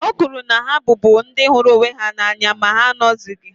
O kwuru na ha bụbu ndị hụrụ onwe ha n’anya ma ha anọghịzi